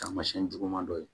Taamasiyɛn juguman dɔ ye